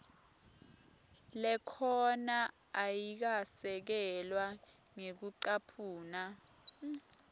lekhona ayikasekelwa ngekucaphuna